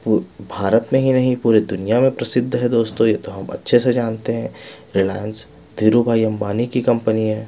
भारत में ही नहीं पूरी दुनिया में प्रसिद्ध है दोस्तों ये तो हम अच्छे से जानते हैं रिलायंस धीरूभाई अंबानी की कंपनी है।